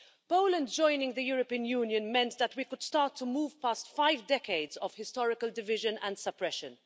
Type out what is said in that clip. Poland joining the European Union meant that we could start to move past five decades of historical division and suppression.